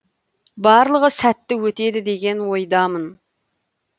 барлығы сәтті өтеді деген ойдамын